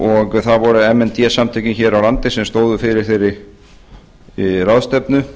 og það voru m n d samtökin hér á landi sem stóðu fyrir þeirri ráðstefnu